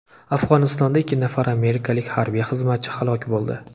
Afg‘onistonda ikki nafar amerikalik harbiy xizmatchi halok bo‘ldi.